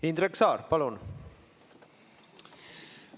Indrek Saar, palun!